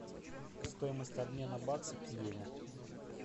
стоимость обмена бакса к йене